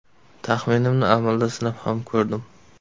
Taxminimni amalda sinab ham ko‘rdim.